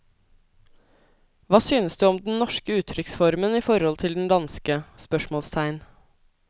Hva synes du om den norske uttrykksformen i forhold til den danske? spørsmålstegn